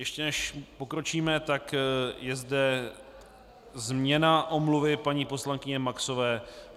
Ještě než pokročíme, tak je zde změna omluvy paní poslankyně Maxové.